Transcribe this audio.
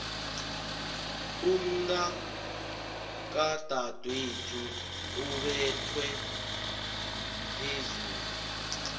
umntakadadwethu ubethwe mphezulu